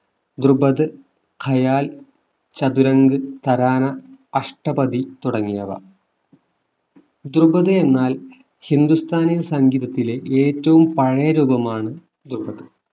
ദ്രുപത് ഹയാല്‍ ചതുരങ്ക് തരാനാ അഷ്ടപതി തുടങ്ങിയവ ദ്രുപത് എന്നാൽ ഹിന്ദുസ്ഥാനി സംഗീതത്തിലെ ഏറ്റവും പഴയ രൂപമാണ് ദ്രുപത്